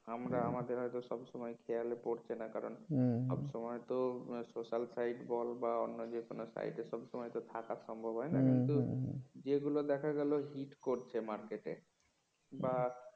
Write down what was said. আমরা আমাদের হয়তো সবসময় খেয়াল পড়ছে না কারন সব সময় তো social side বল বা অন্য যে কোন side সব সময় থাকা তো সম্ভব হয় না যেগুলো দেখা গেল hit করছে market বা